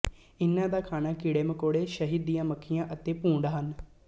ਇਹਨਾਂ ਦਾ ਖਾਣਾ ਕੀੜੇਮਕੌੜੇ ਸ਼ਹਿਦ ਦੀਆਂ ਮੱਖੀਆਂ ਅਤੇ ਭੂੰਡ ਹਨ